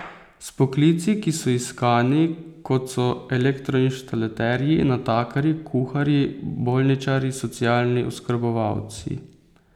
S poklici, ki so iskani, kot so elektroinštalaterji, natakarji, kuharji, bolničarji, socialni oskrbovalci ...